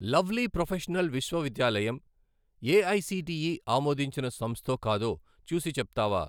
Lovely Professional విశ్వవిద్యాలయం AICTE ఆమోదించిన సంస్థో కాదో చూసి చెప్తావా?